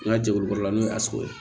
N ka jɛkulu baara la n'o ye sogo ye